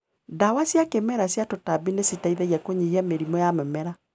Ndawa cia kĩmerera cia tũtambi nĩ citeithagia kũnyihia mĩrimũ ya mĩmera.